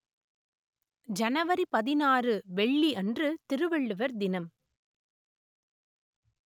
ஜனவரி பதினாறு வெள்ளி அன்று திருவள்ளுவர் தினம்